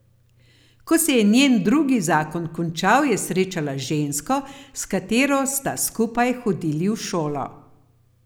Ko se je njen drugi zakon končal, je srečala žensko, s katero sta skupaj hodili v šolo.